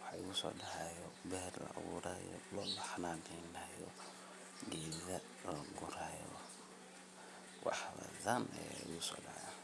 wxa iguso dacayo ber lacaburayo loo la xananeynayo geda lagurayo waxbadan aya iguso dacayo.